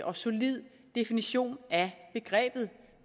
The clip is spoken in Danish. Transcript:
og solid definition af begrebet